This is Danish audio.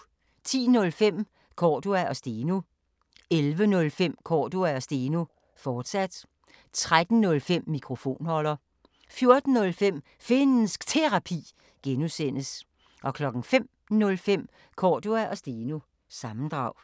10:05: Cordua & Steno 11:05: Cordua & Steno, fortsat 13:05: Mikrofonholder 14:05: Finnsk Terapi (G) 05:05: Cordua & Steno – sammendrag